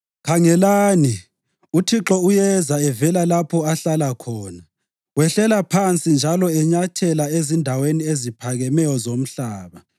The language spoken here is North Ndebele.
Khangelani! UThixo uyeza evela lapho ahlala khona; wehlela phansi njalo enyathela ezindaweni eziphakemeyo zomhlaba.